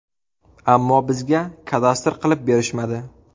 Ammo bizga kadastr qilib berishmadi”.